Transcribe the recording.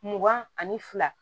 Mugan ani fila